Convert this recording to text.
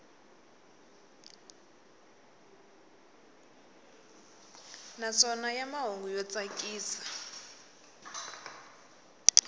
naswona ya mahungu yo tsakisa